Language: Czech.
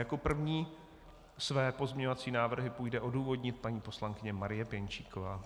Jako první své pozměňovací návrhy půjde odůvodnit paní poslankyně Marie Pěnčíková.